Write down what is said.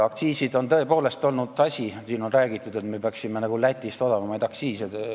Aktsiisid on tõepoolest olnud asi, millest siin on räägitud, et me peaksime nagu Lätist madalamad aktsiisid kehtestama.